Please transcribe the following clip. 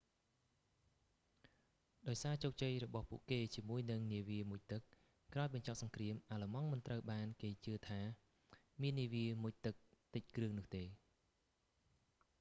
ដោយសារជោគជ័យរបស់ពួកគេជាមួយនឹងនាវាមុជទឹក ក្រោយបញ្ចប់សង្គ្រាម អាល្លឺម៉ង់មិនត្រូវបានគេជឿថាមាននាវាមុជទឹកតិចគ្រឿងនោះទេ